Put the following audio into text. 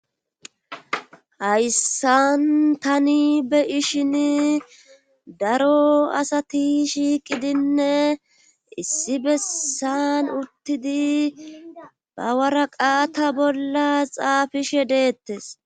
hayssan tani be ishin daro asati shiiqidinne issi bessan uttidi ba waraqaata bolla xaafishe deettes